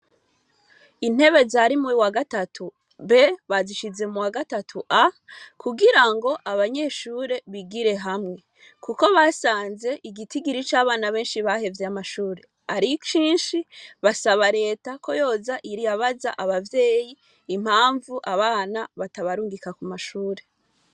Intebe zari muwa gatatu B bazishize muwa gatatu A kugirango abanyeshure bigire hamwe, kuko basanze igitigiri cabana benshi bahevye amashure ari cinshi baSaba reta ko yoza irabaza abavyeyi impamvu abana batabarungika kumashure.